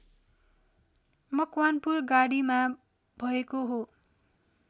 मकवानपुर गढीमा भएको हो